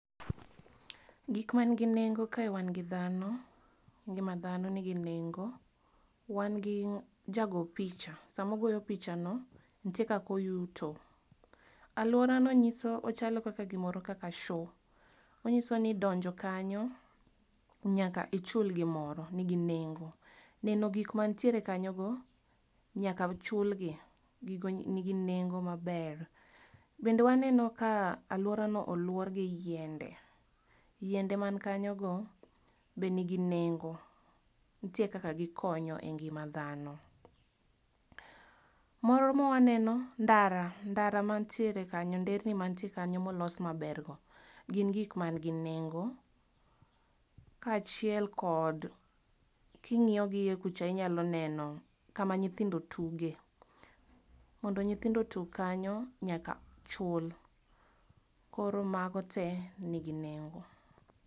Gik man gi nengo kae wan gi dhano, ngima dhano nigi nengo, wan gi jago picha, sama ogoyo pichano nitie kaka oyuto. Alworano nyiso ochalo kaka gimoro kaka show onyiso ni donjo kanyo, nyaka ichul gimoro nigi nengo. Neno gik mantiere kanyogo, nyaka chulgi, gigo nigi nengo maber. Bende waneno ka alworano olwor gi yiende. Yiende man kanyogo bende nigi nengo, nitie kaka gikonyo e ngima dhano. Moro mawaneno ndara, ndara mantiere kanyo nderni mantie kanyo molos mabergo, gin gik man gi nengo. Kaachiel kod king'iyo gi iye kucha inyalo neno kama nyithindo tuge. Mondo nyithindo tug kanyo, nyaka chul. Koro mago tee nigi nengo.